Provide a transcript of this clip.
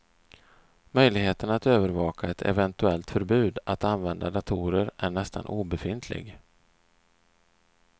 Möjligheten att övervaka ett eventuellt förbud att använda datorer är nästan obefintlig.